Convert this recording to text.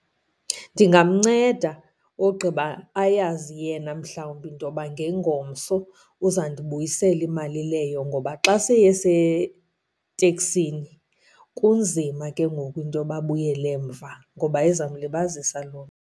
Ndingamnceda ogqiba ayazi yena mhlawumbi into yoba ngengomso uzandibuyisela imali leyo. Ngoba xa eseteksini kunzima ke ngoku into yoba abuyele emva ngoba izamlibazisa loo nto.